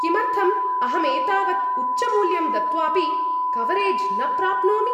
किमर्थम् अहं एतावत् उच्चमूल्यं दत्वापि कवरेज् न प्राप्नोमि?